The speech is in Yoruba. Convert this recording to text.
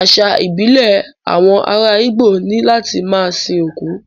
Àṣà ìbílẹ̀ àwọn ará Igbo ni láti máa sin òkú